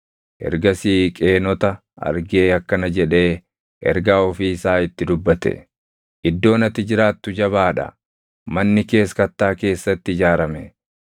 Ergasii Qeenota argee akkana jedhee ergaa ofii isaa itti dubbate: “Iddoon ati jiraattu jabaa dha; manni kees kattaa keessatti ijaarame;